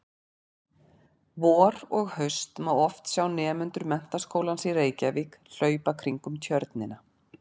Vor og haust má oft sjá nemendur Menntaskólans í Reykjavík hlaupa kringum Tjörnina.